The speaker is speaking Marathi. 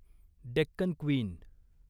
डेक्कन क्वीन